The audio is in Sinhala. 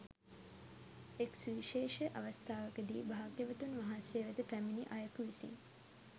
එක් සුවිශේෂ අවස්ථාවකදී භාග්‍යවතුන් වහන්සේ වෙත පැමිණි අයෙකු විසින්